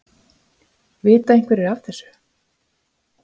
Vita einhverjir aðrir af þessu?